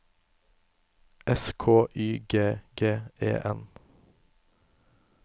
S K Y G G E N